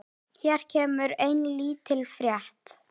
Hér kemur ein lítil frétt.